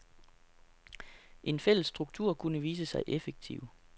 En fælles struktur kunne vise sig effektiv.